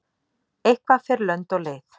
Eitthvað fer lönd og leið